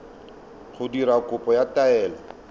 go dira kopo ya taelo